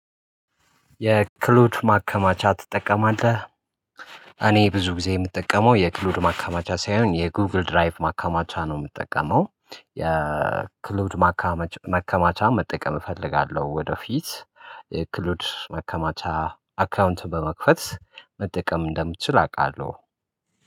የክሉድ ማከማቻ ትጠቀማለህ? እኔ ብዙ ጊዜ የምጠቀመው የክሉድ ማከማቻ ሳይሆን የጉግል ድራይቭ ማከማቻ ነው የምጠቀመው። የክሉድ ማከማቻ መጠቀም እፈልጋለሁ ወደፊት። ክሉድ መከማቻ አካውንት በመክፈት መጠቀም እንደምችል አውቃለሁ